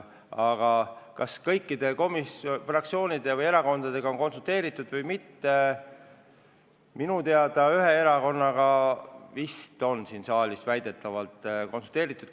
Aga kas ühegi fraktsiooni või erakonnaga pole konsulteeritud – minu teada ühe erakonnaga väidetavalt on.